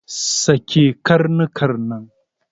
Sake karnuka nan!